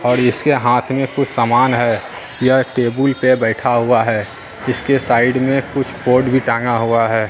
और इसके हाथ में कुछ सामान है यह टेबुल पर बैठा हुआ है इसके साइड में कुछ कोट भी टांगा हुआ है।